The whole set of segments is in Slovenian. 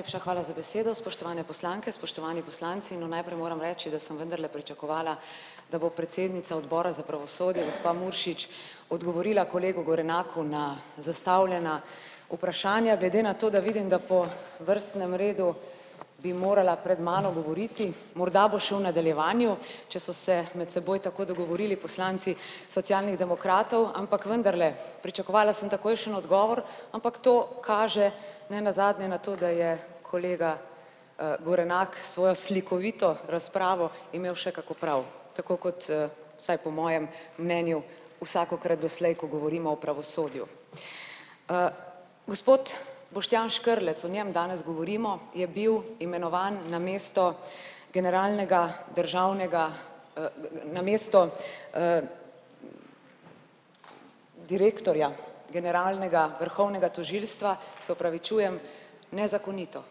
Najlepša hvala za besedo. Spoštovane poslanke, spoštovani poslanci. No, najprej moram reči, da sem vendarle pričakovala, da bo predsednica odbora za pravosodje gospa Muršič odgovorila kolegu Gorenaku na zastavljena vprašanja glede na to, da vidim, da po vrstnem redu bi morala pred mano govoriti. Morda bo še v nadaljevanju, če so se med seboj tako dogovorili poslanci Socialnih demokratov, ampak vendarle pričakovala sem takojšen odgovor, ampak to kaže nenazadnje na to, da je kolega, Gorenak svojo slikovito razpravo imel še kako prav. Tako kot, vsaj po mojem mnenju, vsakokrat doslej, ko govorimo o pravosodju. Gospod Boštjan Škrlec, o njem danes govorimo, je bil imenovan namesto generalnega državnega, namesto, direktorja generalnega vrhovnega tožilstva. Se opravičujem, nezakonito.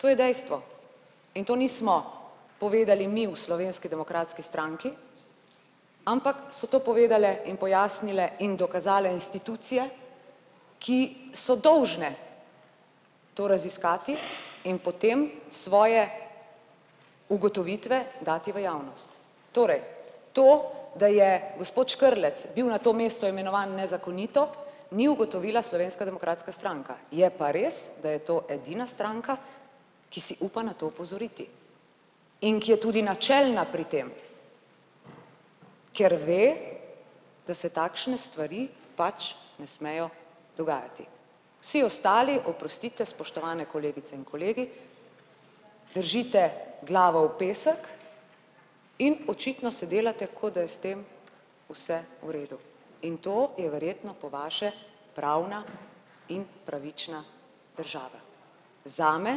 To je dejstvo in to nismo povedali mi v Slovenski demokratski stranki, ampak so to povedale in pojasnile in dokazale institucije, ki so dolžne to raziskati in potem svoje ugotovitve dati v javnost. Torej to, da je gospod Škrlec bil na to mesto imenovan nezakonito, ni ugotovila Slovenska demokratska stranka, je pa res da je to edina stranka, ki si upa na to opozoriti. In ki je tudi načelna pri tem. Ker ve, da se takšne stvari pač ne smejo dogajati. Vsi ostali, oprostite, spoštovane kolegice in kolegi, držite glavo v pesek in očitno se delate, kot da je s tem vse v redu. In to je verjetno po vaše pravna in pravična država. Zame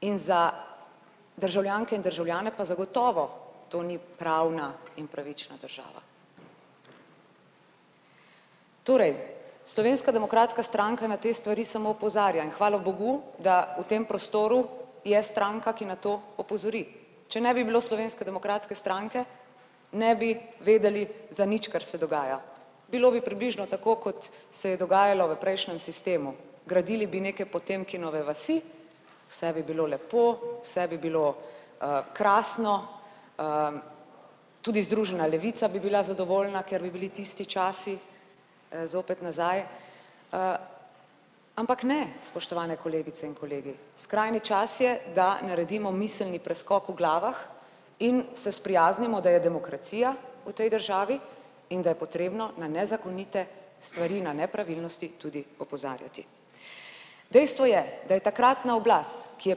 in za državljanke in državljane pa zagotovo to ni pravna in pravična država. Torej, Slovenska demokratska stranka na te stvari samo opozarja in hvala bogu da v tem prostoru je stranka, ki na to opozori, če ne bi bilo Slovenske demokratske stranke, ne bi vedeli, za nič, kar se dogaja. Bilo bi približno tako, kot se je dogajalo v prejšnjem sistemu, gradili bi neke Potemkinove vasi, vse bi bilo lepo, vse bi bilo, krasno, tudi Združena levica bi bila zadovoljna, ker bi bili tisti časi, zopet nazaj, ampak, ne, spoštovane kolegice in kolegi. Skrajni čas je, da naredimo miselni preskok v glavah in se sprijaznimo, da je demokracija v tej državi in da je potrebno na nezakonite stvari na nepravilnosti tudi opozarjati. Dejstvo je, da je takratna oblast, ki je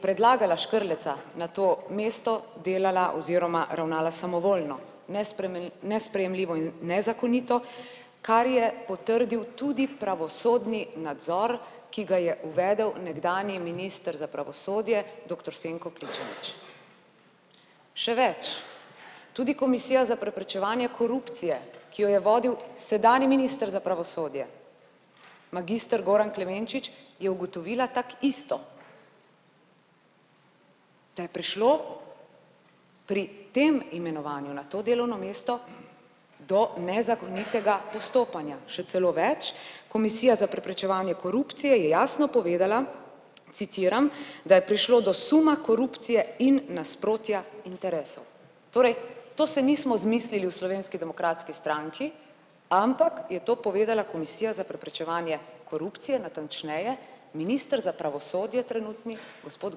predlagala Škrleca na to mesto, delala oziroma ravnala samovoljno. nesprejemljivo in nezakonito, kar je potrdil tudi pravosodni nadzor, ki ga je uvedel nekdanji minister za pravosodje doktor Senko Pličanič. Še več, tudi komisija za preprečevanje korupcije, ki jo je vodil sedanji minister za pravosodje magister Goran Klemenčič, je ugotovila tako isto. Da je prišlo pri tem imenovanju na to delovno mesto do nezakonitega postopanja. Še celo več, komisija za preprečevanje korupcije je jasno povedala, citiram: "Da je prišlo do suma korupcije in nasprotja interesov." Torej, to se nismo izmislili v Slovenski demokratski stranki, ampak je to povedala komisija za preprečevanje korupcije, natančneje minister za pravosodje trenutni gospod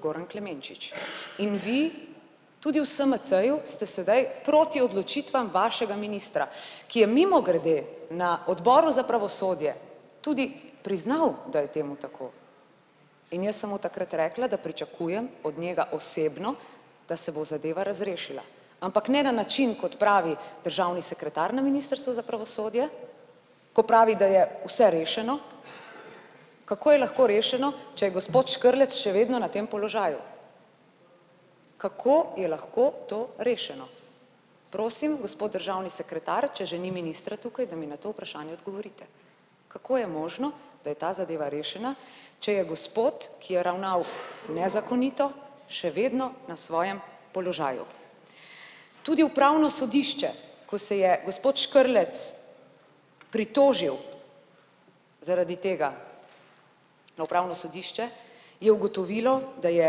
Goran Klemenčič. In vi, tudi v SMC-ju ste sedaj proti odločitvam vašega ministra, ki je mimogrede na odboru za pravosodje tudi priznal, da je temu tako. In jaz sem mu takrat rekla, da pričakujem od njega osebno, da se bo zadeva razrešila. Ampak ne na način, kot pravi državni sekretar na ministrstvu za pravosodje, ko pravi, da je vse rešeno. Kako je lahko rešeno, če je gospod Škrlec še vedno na tem položaju? Kako je lahko to rešeno? Prosim, gospod državni sekretar, če že ni ministra tukaj, da mi na to vprašanje odgovorite. Kako je možno, da je ta zadeva rešena, če je gospod, ki je ravnal nezakonito, še vedno na svojem položaju? Tudi upravno sodišče, ko se je gospod Škrlec pritožil zaradi tega na upravno sodišče, je ugotovilo, da je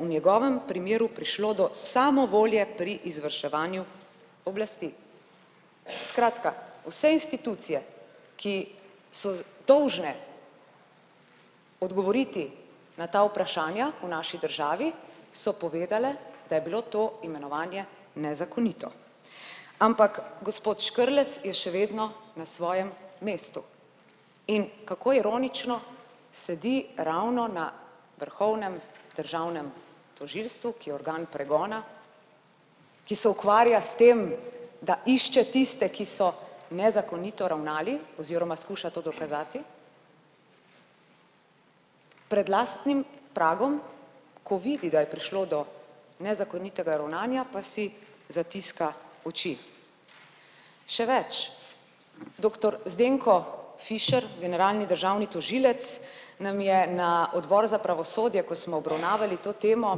v njegovem primeru prišlo do samovolje pri izvrševanju oblasti. Skratka, vse institucije, ki so dolžne odgovoriti na ta vprašanja o naši državi, so povedale, da je bilo to imenovanje nezakonito. Ampak gospod Škrlec je še vedno na svojem mestu. In kako ironično, sedi ravno na vrhovnem državnem tožilstvu, ki je organ pregona, ki se ukvarja s tem, da išče tiste, ki so nezakonito ravnali oziroma skuša to dokazati pred lastnim pragom, ko vidi, da je prišlo do nezakonitega ravnanja, pa si zatiska oči. Še več. Doktor Zdenko Fišer, generalni državni tožilec, nam je na odboru za pravosodje, ko smo obravnavali to temo,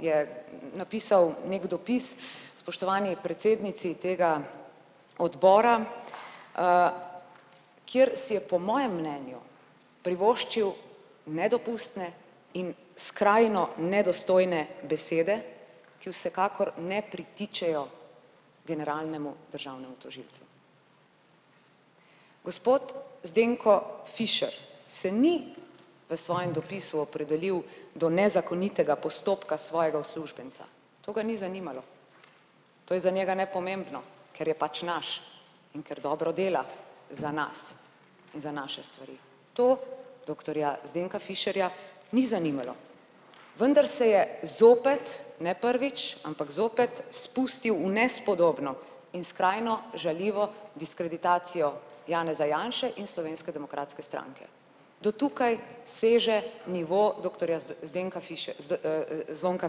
je napisal neki dopis spoštovani predsednici tega odbora, kjer si je po mojem mnenju privoščil nedopustne in skrajno nedostojne besede, ki vsekakor ne pritičejo generalnemu državnemu tožilcu. Gospod Zdenko Fišer se ni v svojem dopisu opredelil do nezakonitega postopka svojega uslužbenca. To ga ni zanimalo. To je za njega nepomembno, ker je pač naš in ker dobro dela za nas in za naše stvari. To doktorja Zdenka Fišerja ni zanimalo. Vendar se je zopet, ne prvič, ampak zopet, spustil v nespodobno in skrajno žaljivo diskreditacijo Janeza Janše in Slovenske demokratske stranke. Do tukaj seže nivo doktorja Zdenka Zvonka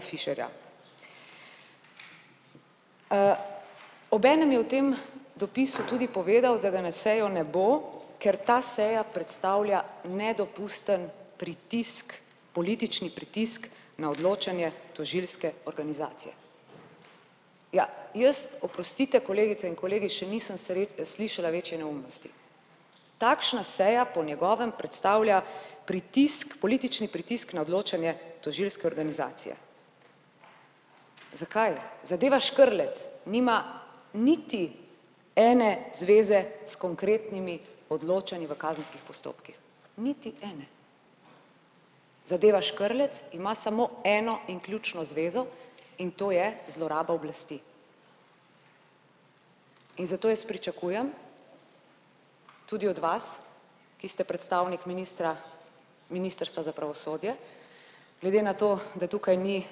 Fišerja. Obenem je v tem dopisu tudi povedal, da ga na sejo ne bo, ker ta seja predstavlja nedopusten pritisk, politični pritisk na odločanje tožilske organizacije. Ja, jaz, oprostite, kolegice in kolegi še nisem slišala večje neumnosti. Takšna seja po njegovem predstavlja pritisk, politični pritisk na odločanje tožilske organizacije. Zakaj? Zadeva Škrlec nima niti ene zveze s konkretnimi odločanji v kazenskih postopkih. Niti ene. Zadeva Škrlec ima samo eno in ključno zvezo, in to je zloraba oblasti. In zato jaz pričakujem, tudi od vas, ki ste predstavnik ministra, ministrstva za pravosodje, glede na to, da tukaj ni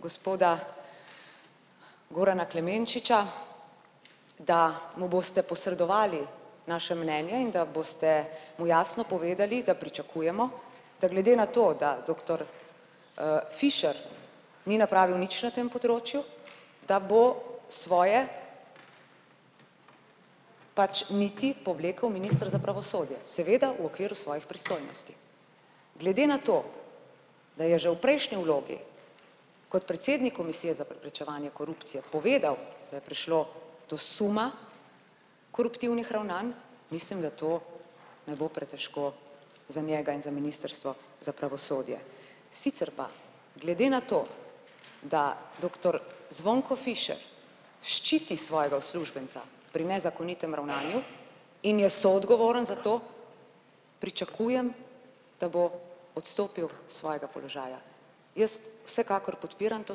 gospoda Gorana Klemenčiča, da mu boste posredovali naše mnenje in da boste mu jasno povedali, da pričakujemo, da glede na to, da doktor, Fišer ni napravil nič na tem področju, da bo svoje pač niti povlekel minister za pravosodje, seveda v okviru svojih pristojnosti. Glede na to, da je že v prejšnji vlogi kot predsednik komisije za preprečevanje korupcije povedal, da je prišlo do suma koruptivnih ravnanj, mislim, da to ne bo pretežko za njega in za ministrstvo za pravosodje. Sicer pa glede na to, da doktor Zvonko Fišer ščiti svojega uslužbenca pri nezakonitem ravnanju in je soodgovoren za to. Pričakujem, da bo odstopil svojega položaja. Jaz vsekakor podpiram to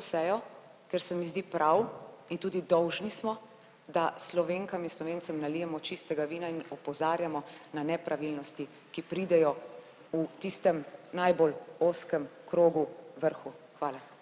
sejo, ker se mi zdi prav, in tudi dolžni smo, da Slovenkam in Slovencem nalijemo čistega vina in opozarjamo na nepravilnosti, ki pridejo v tistem najbolj ozkem krogu vrhu. Hvala.